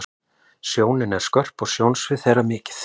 Sjónin er skörp og sjónsvið þeirra mikið.